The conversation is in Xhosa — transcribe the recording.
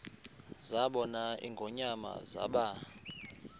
zabona ingonyama zaba